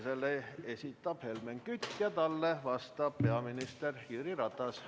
Selle esitab Helmen Kütt ja talle vastab peaminister Jüri Ratas.